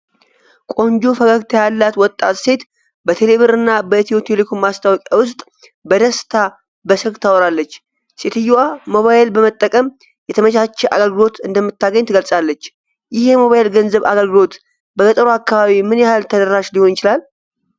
ቆንጆ ፈገግታ ያላት ወጣት ሴት በቴሌብር እና በኢትዮ ቴሌኮም ማስታወቂያ ውስጥ በደስታ በስልክ ታወራለች። ሴትየዋ ሞባይል በመጠቀም የተመቻቸ አገልግሎት እንደምታገኝ ትገልጻለች። ይህ የሞባይል ገንዘብ አገልግሎት በገጠሩ አካባቢ ምን ያህል ተደራሽ ሊሆን ይችላል?